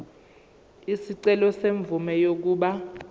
isicelo semvume yokuba